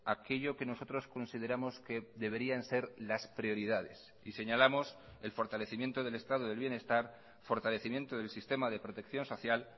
aquello que nosotros consideramos que deberían ser las prioridades y señalamos el fortalecimiento del estado del bienestar fortalecimiento del sistema de protección social